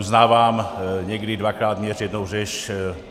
Uznávám, někdy dvakrát měř, jednou řež.